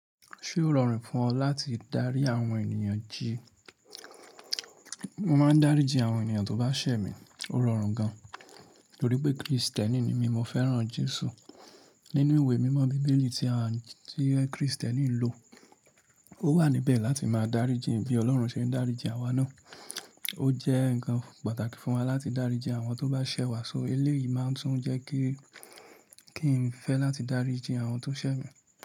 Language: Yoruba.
Ṣé ó rọrùn fún ọ láti dárí àwọn ènìyàn jí? Mo máa ń dáríji àwọn ènìyàn tó bá ṣẹ̀ mi, ó rọrùn gan, nítorí pé Krìstẹ́nì ni mí, mo fẹ́ràn Jésù. Nínú ìwé mímọ́ Bíbélì tí a, tí Krìstẹ́nì ń lò, ó wà níbẹ̀ láti máa dáríji bí Ọlọ́run ṣe ń dáríji àwa náà. Ó jẹ́ ǹkan pàtàkì fún wa láti dáríji àwọn tó bá ṣẹ̀ wá, so eléyìí máa ń tún jẹ́ kí, kí n fẹ́ láti dáríji àwọn tó ṣẹ̀ mi.